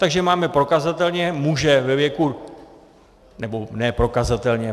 Takže máme prokazatelně muže ve věku - ne prokazatelně.